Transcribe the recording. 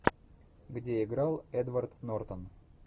где играл эдвард нортон